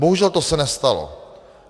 Bohužel to se nestalo.